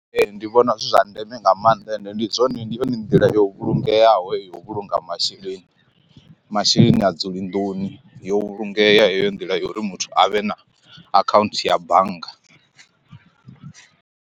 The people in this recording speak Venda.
Ee ndi vhona zwi zwa ndeme nga maanḓa ende ndi zwone ndi yone nḓila yo vhulungeaho heyo u vhulunga masheleni masheleni ha dzuli nḓuni yo vhulungea heyo nḓila ya uri muthu avhe na akhaunthu ya bannga.